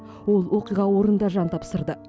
ол оқиға орнында жан тапсырды